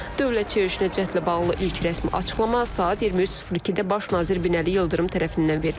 Dövlət çevrilişinə cəhdlə bağlı ilk rəsmi açıqlama saat 23:02-də Baş nazir Binəli Yıldırım tərəfindən verildi.